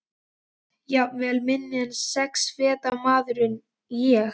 Jafnvel minni en sex feta maðurinn ég.